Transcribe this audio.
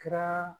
Kɛra